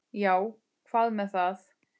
Já, hvað með það?